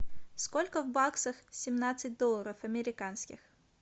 сколько в баксах семнадцать долларов американских